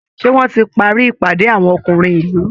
Ṣé wọ́n ti parí ìpàdé àwọn ọkùnrin ìlú?